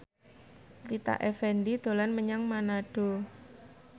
Rita Effendy dolan menyang Manado